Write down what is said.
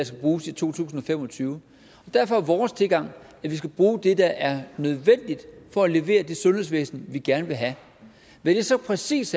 skal bruges i to tusind og fem og tyve derfor er vores tilgang at vi skal bruge det der er nødvendigt for at levere det sundhedsvæsen vi gerne vil have hvad det så præcist